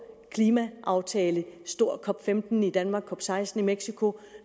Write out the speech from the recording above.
klimaaftale en stor cop15 i danmark og cop16 i mexico